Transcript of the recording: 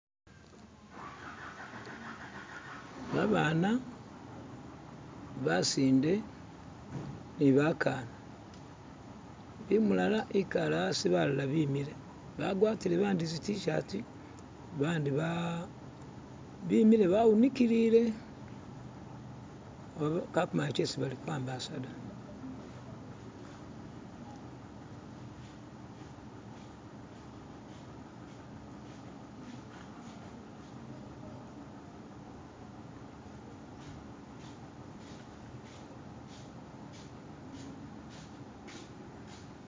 Babana basinde ni bakana umulala ikale asi balala bi'mile ba'gwatile bandi tsi't-shati bandi bemile bawunikilile bakumanya tsesi balikwambasa ta.